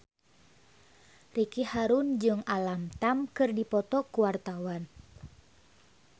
Ricky Harun jeung Alam Tam keur dipoto ku wartawan